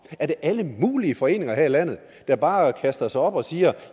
er det alle mulige foreninger her i landet der bare kaster sig op og siger